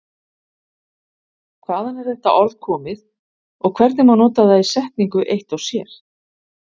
Hvaðan er þetta orð komið og hvernig má nota það í setningu eitt og sér?